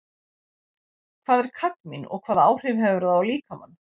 Hvað er kadmín og hvaða áhrif hefur það á líkamann?